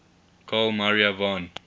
carl maria von